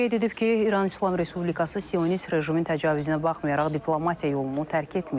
O qeyd edib ki, İran İslam Respublikası sionist rejimin təcavüzünə baxmayaraq diplomatiya yolunu tərk etməyib.